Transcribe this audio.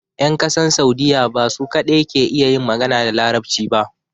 Yan ƙasan Saudiya ba su kadai ke iya yin magana da larabci ba